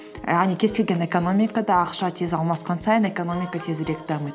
яғни кез келген экономикада ақша тез алмасқан сайын экономика тезірек дамиды